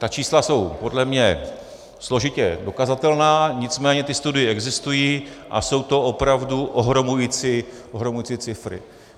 Ta čísla jsou podle mě složitě dokazatelná, nicméně ty studie existují a jsou to opravdu ohromující cifry.